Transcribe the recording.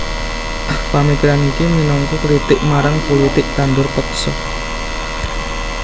Pamikiran iki minangka kritik marang pulitik tandur peksa